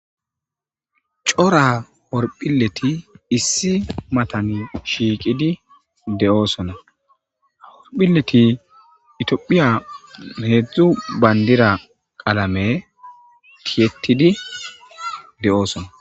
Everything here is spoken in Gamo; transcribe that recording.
Coora orphileti issi matan shiiqidi de7oosona haorphilleti itiophiya heedzdzu bayndira qalame tiyetidi de7oosona